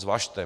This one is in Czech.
Zvažte.